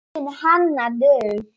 Þín Hanna Dögg.